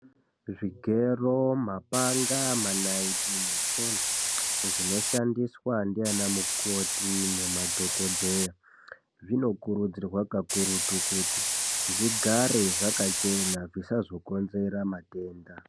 Zvigero mapanga manaiti netsono zvinoshandiswa ndiyana mukoti nemadhokodheya zvinokurudzirwa kakurutu kuti zvigare zvakachena zvisazokonzera matenda .